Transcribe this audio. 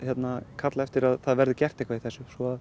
kalla eftir að það verði gert eitthvað í þessu svo